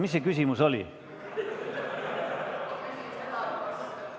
Mis see küsimus oli?